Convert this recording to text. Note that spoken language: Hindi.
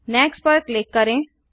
नेक्स्ट पर क्लिक करें